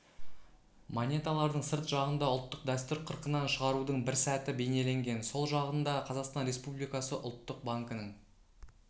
монеталардың сырт жағында ұлттық дәстүр қырқынан шығарудың бір сәті бейнеленген сол жағында қазақстан республикасы ұлттық банкінің